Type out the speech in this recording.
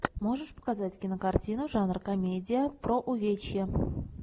можешь показать кинокартину жанр комедия про увечья